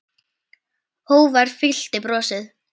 Hógværð fyllti brosið.